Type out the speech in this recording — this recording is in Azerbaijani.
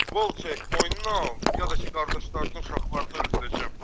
Qol çək, boynuna al, yada ki qardaşlarını, uşaqlarını öldürəcəm.